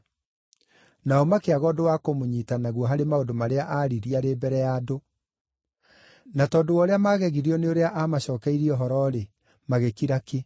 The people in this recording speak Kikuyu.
Nao makĩaga ũndũ wa kũmũnyiita naguo harĩ maũndũ marĩa aaririe arĩ mbere ya andũ. Na tondũ wa ũrĩa maagegirio nĩ ũrĩa aamacookeirie ũhoro-rĩ, magĩkira ki.